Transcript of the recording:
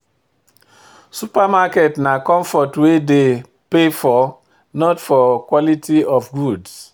Supermarket na comfort we dey pay for not for quality of goods.